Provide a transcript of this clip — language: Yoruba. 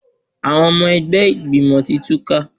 Àwọn ọmọ ẹgbẹ́ ìgbìmọ̀ ti túká.